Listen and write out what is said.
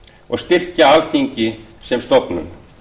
og styrkir alþingi sem stofnun